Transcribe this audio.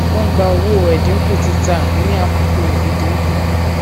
wón gba owó ẹdínkù títà ní àkókò ìdínkù